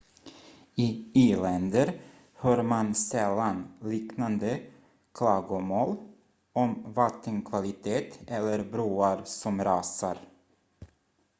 i i-länder hör man sällan liknande klagomål om vattenkvalitet eller broar som rasar